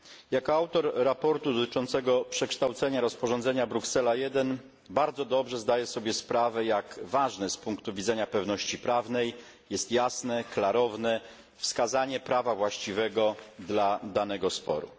Jako autor sprawozdania dotyczącego przekształcenia rozporządzenia Bruksela I bardzo dobrze zdaję sobie sprawę, jak ważne z punktu widzenia pewności prawnej jest jasne, klarowne wskazanie prawa właściwego dla danego sporu.